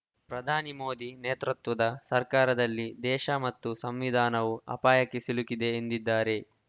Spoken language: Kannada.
ಪ್ರಧಾನಿ ಮೋದಿ ನೇತೃತ್ವದ ಸರ್ಕಾರದಲ್ಲಿ ದೇಶ ಮತ್ತು ಸಂವಿಧಾನವೂ ಆಪಾಯಕ್ಕೆ ಸಿಲುಕಿದೆ ಎಂದಿದ್ದಾರೆ